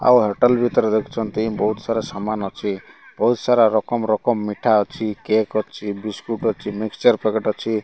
ଆଉ ହେଟୋଲ ଭିତରେ ଦେଖୁଛନ୍ତି ବହୁତ ସାରା ସମାନ୍ ଅଛି ବହୁତ ସାରା ରକମ୍ ରକମ୍ ମିଠା ଅଛି କେକ୍ ଅଛି ବିସ୍କୁଟ୍ ଅଛି ମିକ୍ସଚର ପକେଟ୍ ଅଛି।